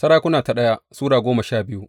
daya Sarakuna Sura goma sha biyu